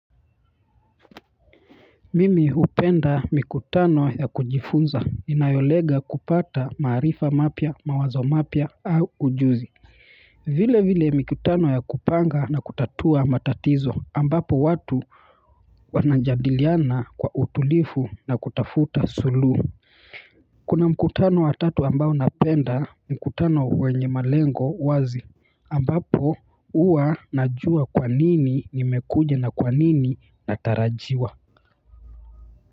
Mimi hupenda mikutano ya kujifunza, inayolenga kupata maarifa mapya, mawazo mapya au ujuzi vile vile mikutano ya kupanga na kutatua matatizo ambapo watu wanajadiliana kwa utulivu na kutafuta sulu kuna mikutano wa tatu ambao napenda mikutano wenye malengo wazi ambapo huwa najua kwanini nimekuja na kwanini natarajiwa.